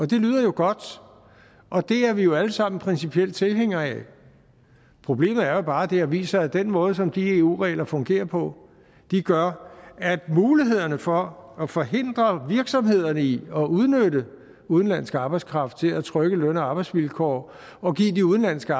det lyder jo godt og det er vi jo alle sammen principielt tilhængere af problemet er jo bare at det her viser at den måde som de eu regler fungerer på gør at mulighederne for at forhindre virksomhederne i at udnytte udenlandsk arbejdskraft til at trykke løn og arbejdsvilkår og give de udenlandske